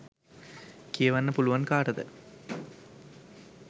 කියවන්න පුලුවන් කාටද?